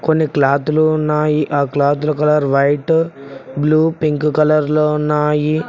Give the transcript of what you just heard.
కొన్ని క్లాతులు ఉన్నాయి ఆ క్లాతుల colour white blue pink colour లో ఉన్నాయి.